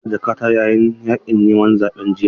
Na rasa jakata yayin yakin neman zaɓe jiya